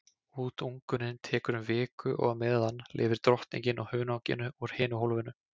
Útungunin tekur um viku og á meðan lifir drottningin á hunanginu úr hinu hólfinu.